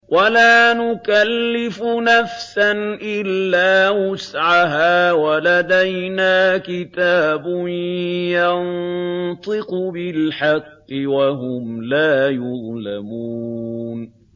وَلَا نُكَلِّفُ نَفْسًا إِلَّا وُسْعَهَا ۖ وَلَدَيْنَا كِتَابٌ يَنطِقُ بِالْحَقِّ ۚ وَهُمْ لَا يُظْلَمُونَ